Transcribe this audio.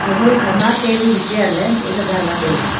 hall khama tabun chair ley bohzao danla taiga.